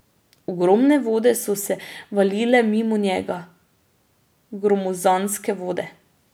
Ogromne vode so se valile mimo njega, gromozanske vode.